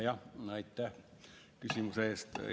Aitäh küsimuse eest!